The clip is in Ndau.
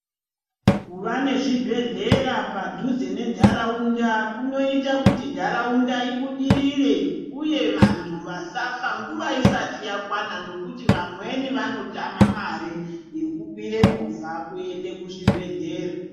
Kuva nezvibhedhlera padhuze nentharaunda kunoita kuti ntharaunda ibudirire uye vanthu vasafa nguva isati yakwana nokuti vamweni vanotama mare yekukwire movha kuende kuzvibhedhlera.